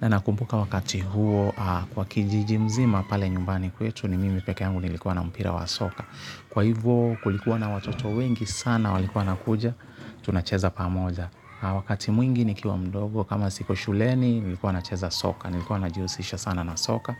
Na nakumbuka wakati huo kwa kijiji mzima pale nyumbani kwetu ni mimi pekeyangu nilikuwa na mpira wa soka. Kwa hivyo kulikuwa na watoto wengi sana walikuwa wanakuja tunacheza pamoja. Wakati mwingi nikiwa mdogo kama siko shuleni nilikuwa nacheza soka. Nilikuwa najiusisha sana na soka.